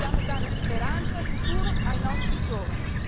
Dobbiamo dare speranza e futuro ai nostri giovani.